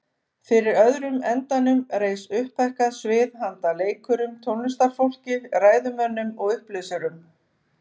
Fyrir öðrum endanum reis upphækkað svið handa leikurum, tónlistarfólki, ræðumönnum og upplesurum.